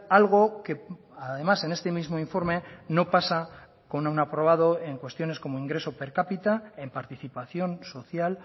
algo que además en este mismo informe no pasa con un aprobado en cuestiones como ingreso per cápita en participación social